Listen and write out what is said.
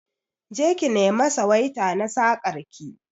Je ki nema suwaita na sakar ki